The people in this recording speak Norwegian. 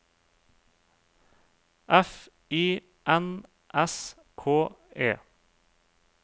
F I N S K E